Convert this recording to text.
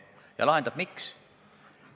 Ja lahendab miks?